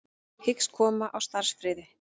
Hyggst koma á starfsfriði